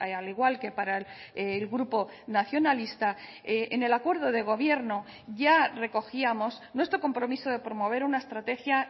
al igual que para el grupo nacionalista en el acuerdo de gobierno ya recogíamos nuestro compromiso de promover una estrategia